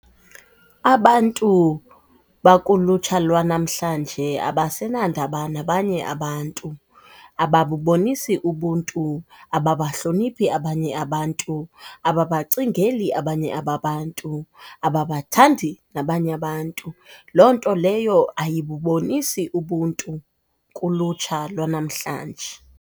Abantu bakulutsha lwanamhlanje abasenandaba nabanye abantu, ababubonisi ubuntu, ababahloniphi abanye abantu, ababacingeli abanye ababantu, ababathandi nabanye abantu. Loo nto leyo ayibubonisi ubuntu kulutsha lwanamhlanje.